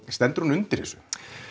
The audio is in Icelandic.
stendur hún undir þessu